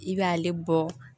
I b'ale bɔ